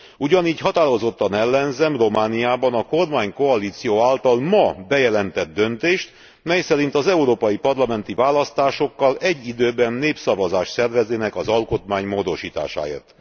Ugyanígy határozottan ellenzem Romániában a kormánykoalíció által ma bejelentett döntést, mely szerint az európai parlamenti választásokkal egy időben népszavazást szerveznének az alkotmány módosításáért.